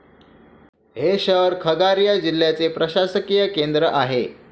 हे शहर खगारिया जिल्ह्याचे प्रशासकीय केंद्र आहे.